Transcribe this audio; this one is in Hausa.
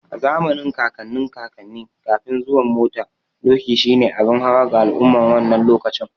A zamanin kakannin kakanni, Kafin zuwan mota, doki shi ne abin hawa ga al'umman wannan lokacin.